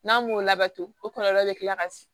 N'a m'o labato o kɔlɔlɔ bɛ kila ka se